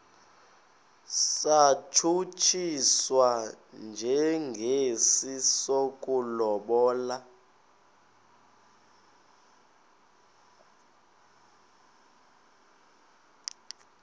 satshutshiswa njengesi sokulobola